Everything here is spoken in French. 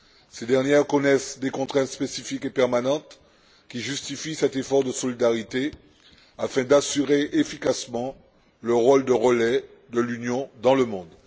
Ces dernières connaissent des contraintes spécifiques et permanentes qui justifient cet effort de solidarité afin d'assurer efficacement le rôle de relais de l'Union dans le monde.